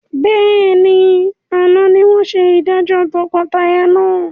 Bẹ́ẹ̀ni, àná ni wọn ṣe ìdájọ́ tọkọtaya náà.